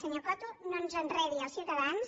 senyor coto no ens enredi als ciutadans